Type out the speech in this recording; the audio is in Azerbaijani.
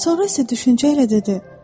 Sonra isə düşüncə ilə dedi: